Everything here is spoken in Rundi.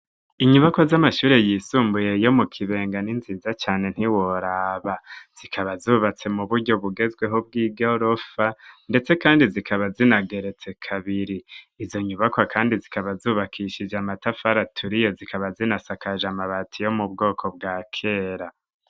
Inyubakwa, z'amashure yisumbuye, yo mu Kibenga, ni nziza cane, ntiworaba; zikaba zubatse, mu buryo bugezweho, bw'igorofa; ndetse kandi, zikaba zinageretse kabiri; izo nyubakwa kandi, zikaba zubakishije, amatafari aturiye, zikaba zinasakaje amabati, yo mu bwoko bwa kera.